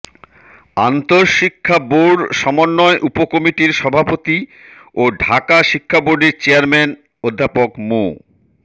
আন্তঃশিক্ষা board সমন্বয় উপকমিটির সভাপতি ও ঢাকা শিক্ষা বোর্ডের চেয়ারম্যান অধ্যাপক মু